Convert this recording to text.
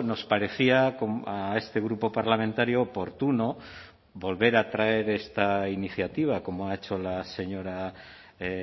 nos parecía a este grupo parlamentario oportuno volver a traer esta iniciativa como ha hecho la señora